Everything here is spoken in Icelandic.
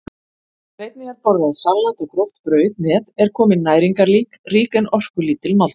Ef einnig er borðað salat og gróft brauð með er komin næringarrík en orkulítil máltíð.